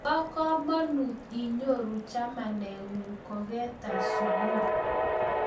Bo kamanganut inyoru chamaninguk kogetar sugul